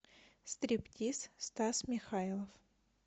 стриптиз стас михайлов